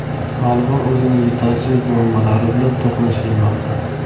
Tolibon o‘zining yetakchilik muammolari bilan to‘qnash kelmoqda.